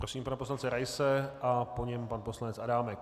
Prosím pana poslance Raise a po něm pan poslanec Adámek.